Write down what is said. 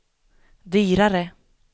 dyrare